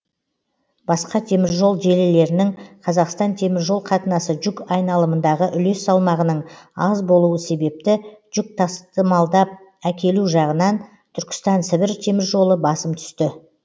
басқа теміржол желілерінің қазақстан теміржол қатынасы жүк айналымындағы үлес салмағының аз болуы себепті жүкті тасымалдап әкелу жағынан түркістан сібір теміржолы басым түсті